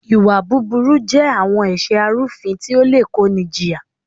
Ìwà búburú je àwọn ẹ̀ṣẹ arúfin tí ó le kó ni jìyà.